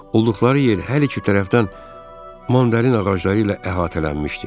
Olduqları yer hər iki tərəfdən mandarin ağacları ilə əhatələnmişdi.